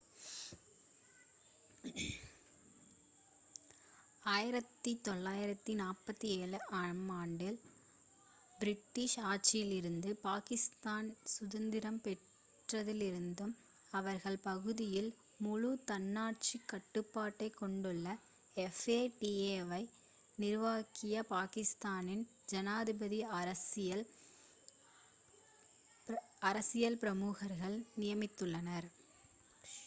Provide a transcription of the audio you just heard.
"1947 ஆம் ஆண்டில் பிரிட்டிஷ் ஆட்சியிலிருந்து பாகிஸ்தானி சுதந்திரம் பெற்றதிலிருந்து அவர்கள் பகுதியில் முழு தன்னாட்சி கட்டுப்பாட்டை கொண்டுள்ள fata வை நிர்வகிக்க பாகிஸ்தானி ஜனாதிபதி "அரசியல் பிரமுகர்களை" நியமித்துள்ளார்.